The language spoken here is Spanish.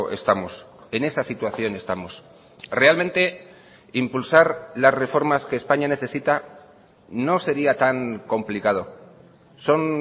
estamos en esa situación estamos realmente impulsar las reformas que españa necesita no sería tan complicado son